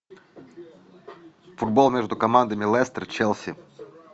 футбол между командами лестер челси